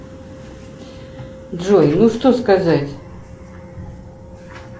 джой ну что сказать